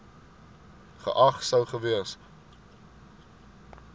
geag sou gewees